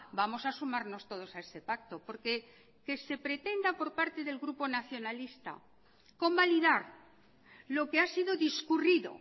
vamos a sumarnos todos a ese pacto porque que se pretenda por parte del grupo nacionalista convalidar lo que ha sido discurrido